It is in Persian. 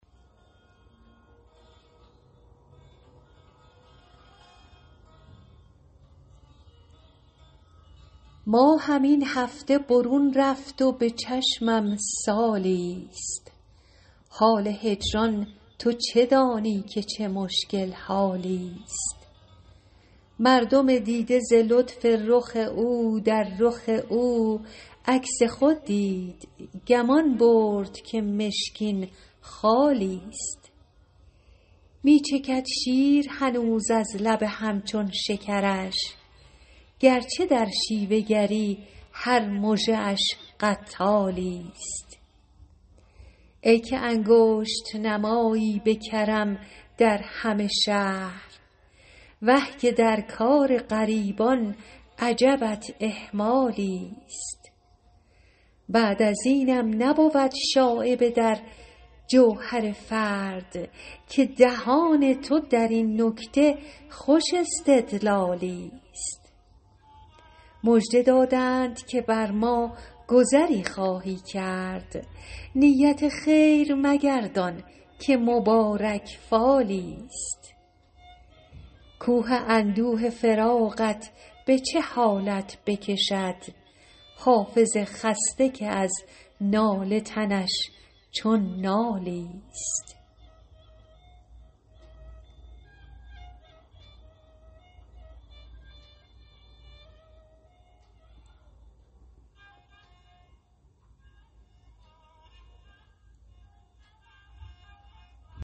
ماهم این هفته برون رفت و به چشمم سالی ست حال هجران تو چه دانی که چه مشکل حالی ست مردم دیده ز لطف رخ او در رخ او عکس خود دید گمان برد که مشکین خالی ست می چکد شیر هنوز از لب هم چون شکرش گر چه در شیوه گری هر مژه اش قتالی ست ای که انگشت نمایی به کرم در همه شهر وه که در کار غریبان عجبت اهمالی ست بعد از اینم نبود شایبه در جوهر فرد که دهان تو در این نکته خوش استدلالی ست مژده دادند که بر ما گذری خواهی کرد نیت خیر مگردان که مبارک فالی ست کوه اندوه فراقت به چه حالت بکشد حافظ خسته که از ناله تنش چون نالی ست